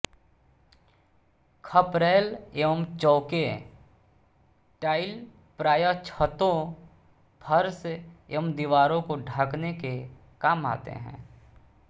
खपरैल एवं चौके टाइल प्रायः छतों फर्श एवं दीवारों को ढकने के काम आते हैं